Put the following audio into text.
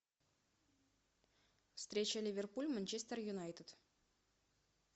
встреча ливерпуль манчестер юнайтед